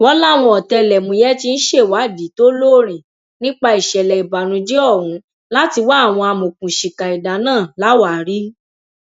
wọn láwọn ọtẹlẹmúyẹ tí ń ṣèwádìí tó lóòrìn nípa ìṣẹlẹ ìbànújẹ ọhún láti wá àwọn amọòkùnsíkà ẹdà náà láwàárí